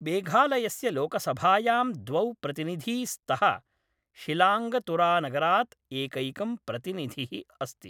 मेघालयस्य लोकसभायां द्वौ प्रतिनिधी स्तः, शिलाङ्गतुरानगरात् एकैकं प्रतिनिधिः अस्ति ।